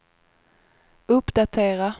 uppdatera